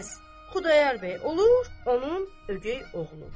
Pəs Xudayar bəy olur onun ögəy oğlu.